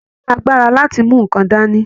Ọwọ ní àgbàrá láti mú nkán dání.